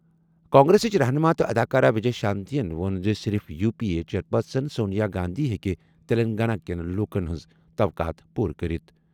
کانگریسٕچ رہنُما تہٕ اداکارہ وجے شانتی ووٚن زِ صرف U P A chairperson Sonia Gandhi ہٮ۪کہِ تیٚلنٛگانہ کٮ۪ن لوٗکَن ہٕنٛز توقعات پوٗرٕ کٔرِتھ۔